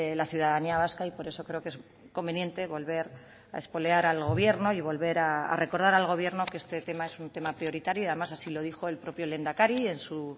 la ciudadanía vasca y por eso creo que es conveniente volver a espolear al gobierno y volver a recordar al gobierno que este tema es un tema prioritario y además así lo dijo el propio lehendakari en su